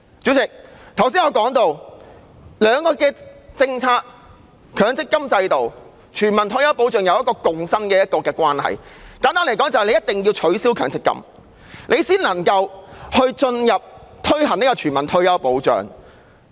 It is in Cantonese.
主席，我剛才提到，強積金制度及全民退休保障兩項政策有一個共生的關係，簡單來說，政府一定要取消強積金制度才能夠着手推行全民退休保障。